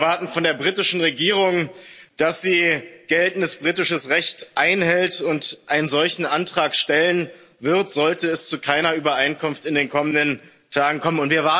Wir erwarten von der britischen Regierung, dass sie geltendes britisches Recht einhält und einen solchen Antrag stellen wird, sollte es zu keiner Übereinkunft in den kommenden Tagen kommen.